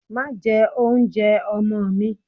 Màá jẹ oúnjẹ ọmọ mi!